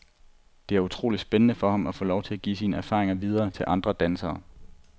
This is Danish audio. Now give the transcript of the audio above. Det er utroligt spændende for ham at få lov til at give sine erfaringer videre til andre dansere.